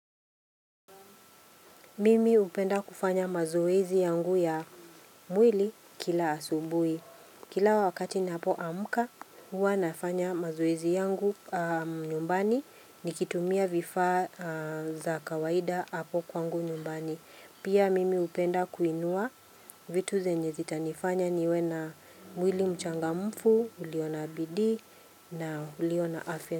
Mimi hupenda kufanya mazoezi yangu ya mwili kila asubuhi. Kila wakati ninapo amka, huwa nafanya mazoezi yangu nyumbani nikitumia vifaa za kawaida hapo kwangu nyumbani. Pia mimi hupenda kuinua vitu zenye zitanifanya niwe na mwili mchangamfu, ulio na bidii na ulio na afya.